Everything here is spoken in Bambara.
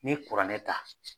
N'i kuranɛ ta